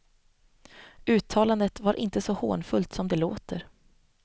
Uttalandet var inte så hånfullt som det låter.